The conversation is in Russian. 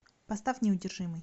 поставь неудержимый